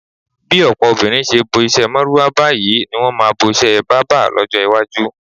Bí ò̩pò̩ obìnrin s̩e bo is̩é̩ márúwá báyìí ní wo̩n máa bos̩é̩ bábà ló̩jó̩ iwájú.